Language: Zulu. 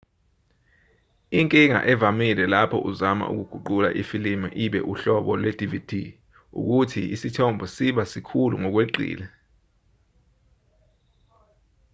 inkinga evamile lapho uzama ukuguqula ifilimu ibe uhlobo lwe-dvd ukuthi isithombe siba sikhulu ngokweqile